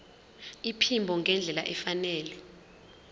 iphimbo ngendlela efanele